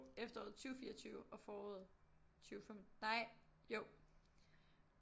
Efteråret 20 24 og foråret 20 25 nej jo